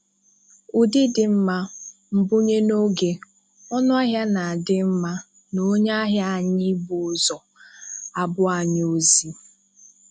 Ụdị dị mma, mbunye n'oge, ọnụahịa na di mma, na onye ahia anyi ị bu ụzọ, A bụ anyị ozi.